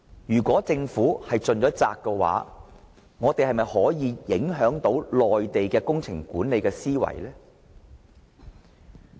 既然政府已盡了責，我們又是否能夠影響內地的工程管理思維呢？